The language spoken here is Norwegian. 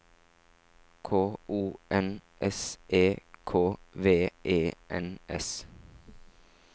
K O N S E K V E N S